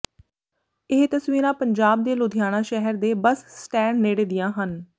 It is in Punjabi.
ਇਹ ਤਸਵੀਰਾਂ ਪੰਜਾਬ ਦੇ ਲੁਧਿਆਣਾ ਸ਼ਹਿਰ ਦੇ ਬਸ ਸਟੈਂਡ ਨੇੜੇ ਦੀਆਂ ਹਨ